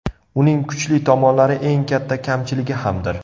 Uning kuchli tomonlari eng katta kamchiligi hamdir.